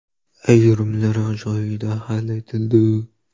Ayrimlari joyida hal etildi.